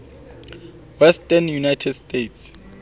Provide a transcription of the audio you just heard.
western united states